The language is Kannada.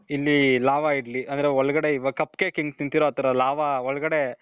ಇಲ್ಲಿ lava ಇಡ್ಲಿ ಅಂದ್ರೆ ಒಳಗಡೆ ಇವಗ cup cake ಹೆಂಗೆ ತಿಂತಿರೋ ಆ ತರ lava ಒಳಗಡೆ